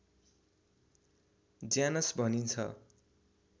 Janus भनिन्छ